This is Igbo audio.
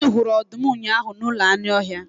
Anyị hụrụ ọdụm ụnyahụ n'ụlọ anụ ọhịa.